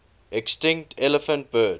extinct elephant birds